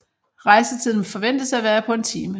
Rejsetiden forventes at være på en time